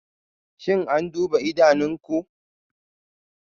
Shin an duba idanunku?